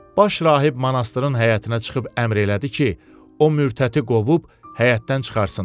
Baş rahib monastırın həyətinə çıxıb əmr elədi ki, o mürtəti qovub həyətdən çıxartsınlar.